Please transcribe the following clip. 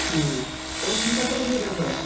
ହୁଁ, ତମେ କି ଚାଷ କରୁଥିଲା କି ଏଇଥର?